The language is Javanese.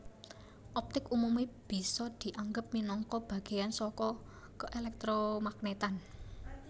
Optik umume bisa dianggep minangka bagéyan saka keelektromagnetan